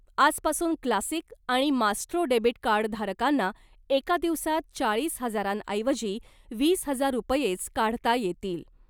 आजपासून क्लासिक आणि Maestro debit कार्डधारकांना एका दिवसात चाळीस हजारांऐवजी वीस हजार रुपयेच काढता येतील .